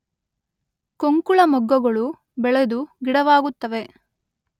ಕೊಂಕುಳಮೊಗ್ಗುಗಳು ಬೆಳೆದು ಗಿಡವಾಗುತ್ತವೆ.